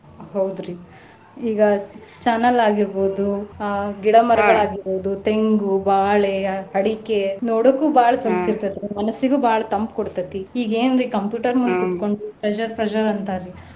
ಹೌದ್ರಿ ಈಗ channel ಆಗಿರ್ಬಹುದು ಆ ಗಿಡ ಮರಗಳ್ ಆಗಿರ್ಬಹುದು, ತೆಂಗು, ಬಾಳೆ, ಅಡಿಕೆ ನೋಡೋಕು ಬಾಳ್ ಸೊಗಸ್ ಇರ್ತೈತ್ರಿ ಮನಸ್ಸಿಗು ಬಾಳ ತಂಪ್ ಕೊಡ್ತೈತಿ ಈಗ ಏನ್ರೀ computer ಮುಂದ ಕೂತ್ಕೊಂಡ pressure pressure ಅಂತಾರಿ.